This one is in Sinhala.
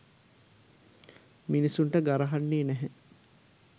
මිනිස්සුන්ට ගරහන්නේ නැහැ